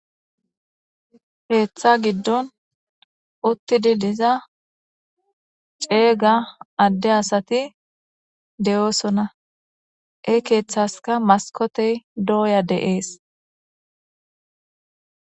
Keeththa giddon uttidi diza ceega adde asati de7oosona he keeththazaka maskotey dooya de7ees.